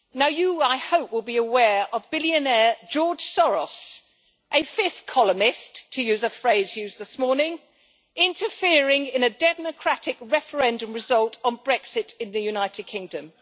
You, I hope, will be aware of billionaire George Soros, a fifth columnist, to use a phrase used this morning, interfering in a democratic referendum result on Brexit in the United Kingdom.